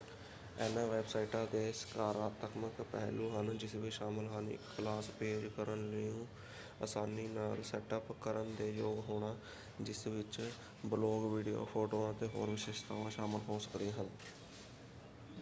ਇਨ੍ਹਾਂ ਵੈੱਬਸਾਈਟਾਂ ਦੇ ਸਕਾਰਾਤਮਕ ਪਹਿਲੂ ਹਨ ਜਿਸ ਵਿੱਚ ਸ਼ਾਮਲ ਹਨ ਇੱਕ ਕਲਾਸ ਪੇਜ ਕਰਨ ਨੂੰ ਅਸਾਨੀ ਨਾਲ ਸੈੱਟ ਅੱਪ ਕਰਨ ਦੇ ਯੋਗ ਹੋਣਾ ਜਿਸ ਵਿੱਚ ਬਲੌਗ ਵਿਡੀਓ ਫ਼ੋਟੋਆਂ ਅਤੇ ਹੋਰ ਵਿਸ਼ੇਸ਼ਤਾਵਾਂ ਸ਼ਾਮਲ ਹੋ ਸਕਦੀਆਂ ਹਨ।